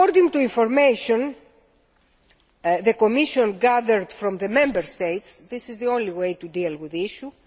According to information the Commission gathered from the Member States, this is the only way to deal with the issue.